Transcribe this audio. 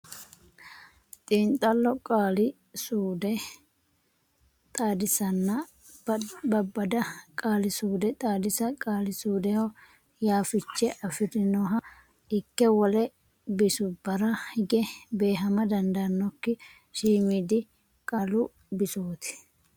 Xiinxallo Qaali suude Xaadisanna Babbada Qaali suude Xaadisa Qaali suudeho yaa fiche afi rinoha ikke wole bisubbara hige beehama dandaannokki shiimiidi qaalu bisooti.